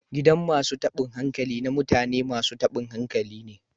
Gidan masun tabin hankali na mutane masun tabin hankali ne.